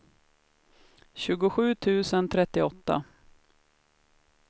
tjugosju tusen trettioåtta